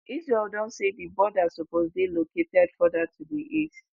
israel don say di border suppose dey located further to di east.